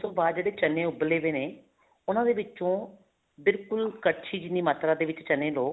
ਉਸ ਤੋਂ ਬਾਅਦ ਜਿਹੜੇ ਚਨੇ ਉੱਬਲੇ ਪਏ ਨੇ ਉਹਨਾ ਦੇ ਵਿੱਚੋਂ ਬਿਲਕੁਲ ਕੜਛੀ ਜਿੰਨੀ ਮਾਤਰਾ ਦੇ ਵਿੱਚ ਚਨੇ ਲਓ